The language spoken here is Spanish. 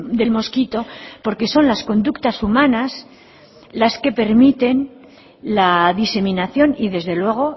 del mosquito porque son las conductas humanas las que permiten la diseminación y desde luego